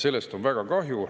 Sellest on väga kahju.